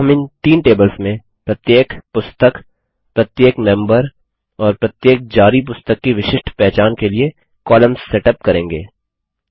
अब हम इन तीन टेबल्स में प्रत्येक पुस्तक प्रत्येक मेम्बर और प्रत्येक जारी पुस्तक की विशिष्ट पहचान के लिए कॉलम्स सेटअप करेंगे